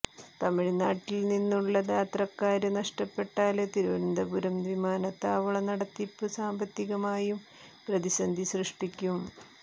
തമിഴ്നാട്ടില്നിന്നുള്ള യാത്രക്കാര് നഷ്ടപ്പെട്ടാല് തിരുവനന്തപുരം വിമാനത്താവള നടത്തിപ്പ് സാമ്പത്തികമായും പ്രതിസന്ധി സൃഷ്ടിക്കും